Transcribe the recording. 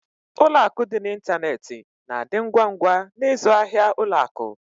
Ụlọ akụ dị n'ịntanetị na-adị ngwa ngwa n'ịzụ ahịa ụlọ akụ.